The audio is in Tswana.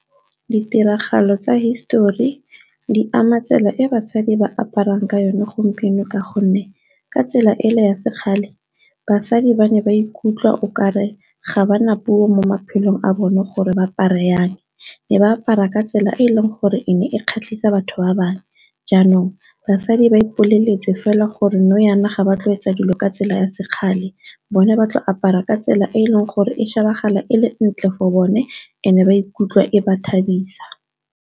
Ditiragalo tsa hisetori di ama tsela e basadi ba aparang ka yone gompieno ka gonne ka tsela e le ya se kgale basadi ba ne ba ikutlwa okare ga ba na puo mo maphelong a bone gore ba apare jang, ne ba apara ka tsela e e leng gore e ne e kgatlhisa batho ba bangwe jaanong basadi ba ipoleletse fela gore nou jaana ga ba tle go etsa dilo ka tsela ya sekgale bone ba tlo apara ka tsela e e leng gore e shebahala ele ntle for bone and e ba ikutlwa e ba thabisa.